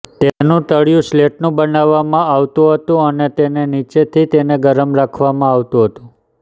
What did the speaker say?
તેનુ તળિયુ સ્લેટનું બનાવવામાં આવતું હતું અને તેને નીચેથી તેને ગરમ રાખવામાં આવતું હતું